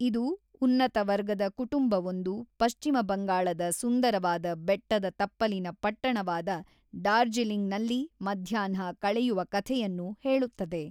ಇದು ಉನ್ನತ ವರ್ಗದ ಕುಟುಂಬವೊಂದು ಪಶ್ಚಿಮ ಬಂಗಾಳದ ಸುಂದರವಾದ ಬೆಟ್ಟದ ತಪ್ಪಲಿನ ಪಟ್ಟಣವಾದ ಡಾರ್ಜಿಲಿಂಗ್‌ನಲ್ಲಿ ಮಧ್ಯಾಹ್ನ ಕಳೆಯುವ ಕಥೆಯನ್ನು ಹೇಳುತ್ತದೆ.